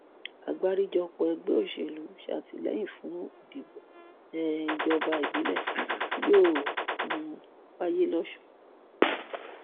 àgbáríjọpọ ẹgbẹ òṣèlú sàtìlẹyìn fún ìdìbò um ìjọba ìbílẹ tí yóò um wáyé lọsùn